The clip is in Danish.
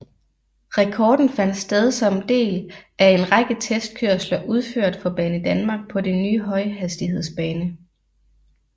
Rekorden fandt sted som del af en række testkørsler udført for Banedanmark på den nye højhastighedsbane